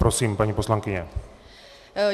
Prosím, paní poslankyně.